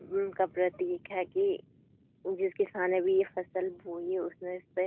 उम का प्रतीक है कि जिस किसान ने भी ये फसल बोई है उसने इसपे --